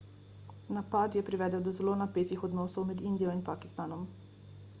napad je privedel do zelo napetih odnosov med indijo in pakistanom